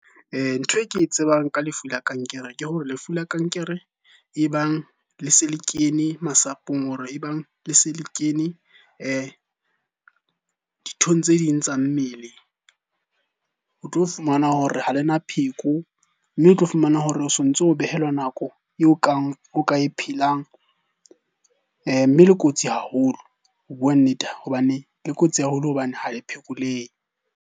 Ntho e ke e tsebang ka lefu la kankere, ke hore lefu la kankere e bang le se le kene masapong hore e bang le se le kene dithong tse ding tsa mmele. O tlo fumana hore ha le na pheko, mme o tlo fumana hore o sontso o behelwa nako o ka e phelang. Mme le kotsi haholo ho bua nnete hobane le kotsi haholo hobane ha e phekolehe.